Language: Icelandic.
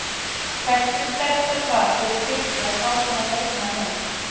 Hversu sterkt er það fyrir Fylki að fá svona leikmann inn?